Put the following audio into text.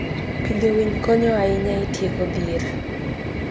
Pidho winy konyo ahinya e tieko dhier.